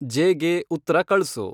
ಜೇಗೆ ಉತ್ತ್ರ ಕಳ್ಸು